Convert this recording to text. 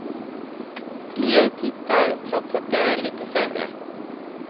Fler tittar trots att det är lite sämre.